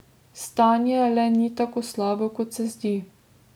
Stanje le ni tako slabo, kot se zdi.